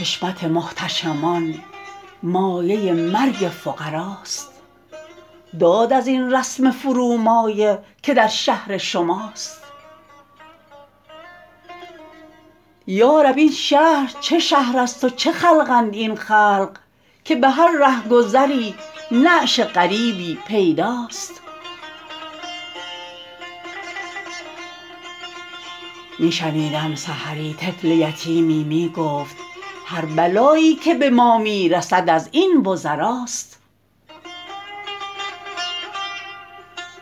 حشمت محتشمان مایه مرگ فقراست داد ازین رسم فرومایه که در شهر شماست یا رب این شهر چه شهر ست و چه خلقند این خلق که به هر رهگذری نعش غریبی پیداست می شنیدم سحری طفل یتیمی می گفت هر بلایی که به ما می رسد از این وزراست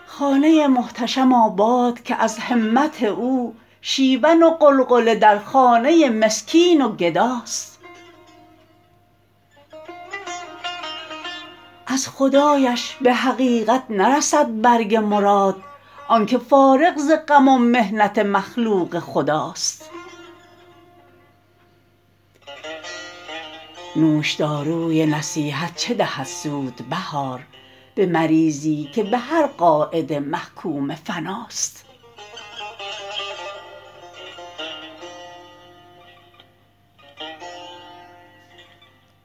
خانه محتشم آباد که از همت او شیون و غلغله در خانه مسکین و گداست از خدایش به حقیقت نرسد برگ مراد آنکه فارغ ز غم ومحنت مخلوق خداست نوشداروی نصیحت چه دهد سود بهار به مریضی که به هر قاعده محکوم فناست